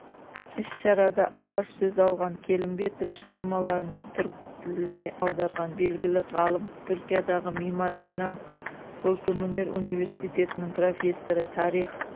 іс-шарада алғаш сөз алған келімбетов шығармаларын түрік тіліне аударған белгілі ғалым түркиядағы мимар синан көркемөнер университетінің профессоры тарих